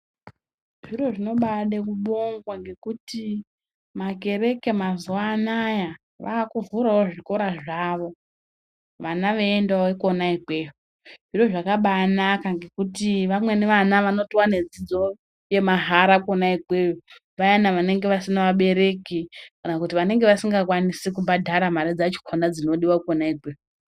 Zviro zvinobayide kubongwa nekuti makereke mazuva anaaya vava kuvhura zvikora zvavo vana veyiendawo ikona ikweyo zviro zvakanaka ngekuti vamweni vana vanotowana dzidzo yema hara vayana vanenge vasina vavereki kana kuti vanenge vasingakwanisi kubhadhara mare dzichona dzinodiwa ikweyo.